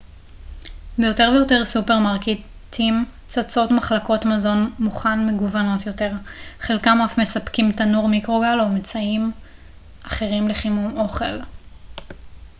ביותר ויותר סופרמרקטים צצות מחלקות מזון מוכן מגוונות יותר חלקם אף מספקים תנור מיקרוגל או אמצעים אחרים לחימום אוכל